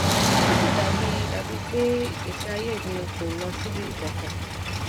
ó sì dà bíi dà bíi pé ìgbésí ayé mi kò lọ síbì kankan